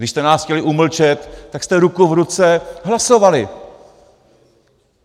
Když jste nás chtěli umlčet, tak jste ruku v ruce hlasovali.